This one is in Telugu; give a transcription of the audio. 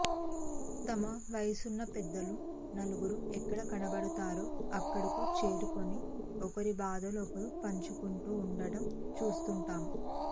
తమ వయసున్న పెద్దలు నలుగురు ఎక్కడ కనబడతారో అక్కడకు చేరుకొని ఒకరి బాధలు ఒకరు పంచుకుంటూ ఉండడం చూస్తుంటాం